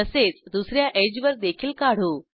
तसेच दुस या एड्ज वर देखील काढू